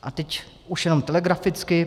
A teď už jenom telegraficky.